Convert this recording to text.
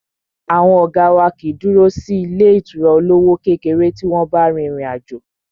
Àwọn ọ̀gá wá kìí dúró sí ilé ìtura olówó kékeré tí wọ́n bá rin ìrìn àjò.